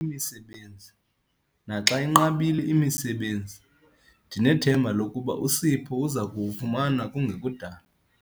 Naxa inqabile imisebenzi ndinethemba lokuba uSipho uza kuwufumana kungekudala.